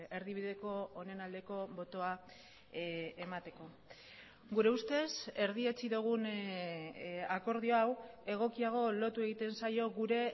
erdibideko honen aldeko botoa emateko gure ustez erdietsi dugun akordio hau egokiago lotu egiten zaio gure